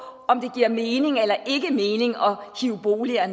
om det giver mening eller ikke mening at rive boliger